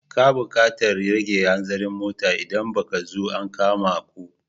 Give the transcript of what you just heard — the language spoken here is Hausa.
Ka buƙatar rage hanzarin motar idan ba ka so a kama ku.